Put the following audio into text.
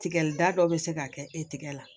Tigɛli da dɔ be se ka kɛ e tigɛ la